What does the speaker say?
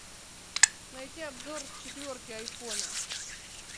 найти обзор четверки айфона